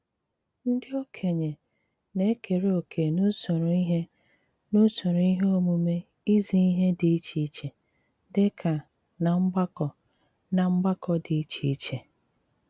Ndí ókényé ná-ékeré òké n’úsóró íhé n’úsóró íhé ómùmé ízí íhé dí iché iché, dí kà ná mgbàkọ́ ná mgbàkọ́ dí iché iché.